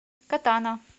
катана